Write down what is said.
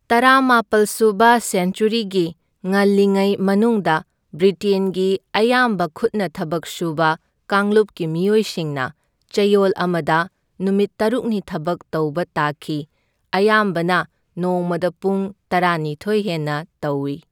ꯇꯔꯥꯃꯥꯄꯜ ꯁꯨꯕ ꯁꯦꯟꯆ꯭ꯋꯔꯤꯒꯤ ꯉꯜꯂꯤꯉꯩ ꯃꯅꯨꯡꯗ, ꯕ꯭ꯔꯤꯇꯦꯟꯒꯤ ꯑꯌꯥꯝꯕ ꯈꯨꯠꯅ ꯊꯕꯛ ꯁꯨꯕ ꯀꯥꯡꯂꯨꯞꯀꯤ ꯃꯤꯑꯣꯏꯁꯤꯡꯅ ꯆꯌꯣꯜ ꯑꯃꯗ ꯅꯨꯃꯤꯠ ꯇꯔꯨꯛꯅꯤ ꯊꯕꯛ ꯇꯧꯕ ꯇꯥꯈꯤ, ꯑꯌꯥꯝꯕꯅ ꯅꯣꯡꯃꯗ ꯄꯨꯡ ꯇꯔꯥꯅꯤꯊꯣꯏ ꯍꯦꯟꯅ ꯇꯧꯢ꯫